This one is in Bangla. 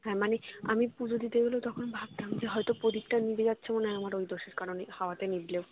মানে আমি পুজো দিতে গেলেও তখন ভাবতাম যে হয়তো প্রদীপটা নিভে যাচ্ছে মনে হয় আমার ওই দোষের কারণেই হওয়াতে নিভলেও